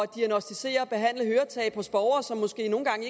diagnosticere og behandle høretab hos borgere som måske nogle gange